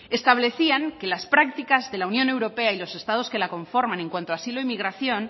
establecían que las prácticas de la unión europea y los estados que la conforman en cuanto a asilo e inmigración